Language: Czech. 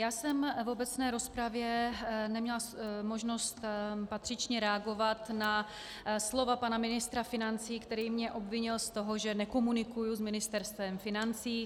Já jsem v obecné rozpravě neměla možnost patřičně reagovat na slova pana ministra financí, který mě obvinil z toho, že nekomunikuji s Ministerstvem financí.